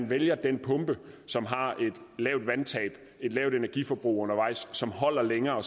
vælger den pumpe som har et lavt vandtab og et lavt energiforbrug og som holder længere